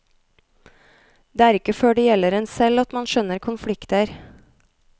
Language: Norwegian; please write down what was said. Det er ikke før det gjelder en selv at man skjønner konflikter.